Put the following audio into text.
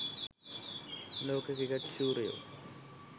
ලෝක ක්‍රිකට් ශූරයෝ